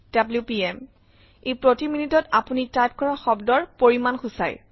WPM - ই প্ৰতি মিনিটত আপুনি টাইপ কৰা শব্দৰ পৰিমান সূচায়